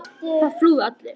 Það flúðu allir.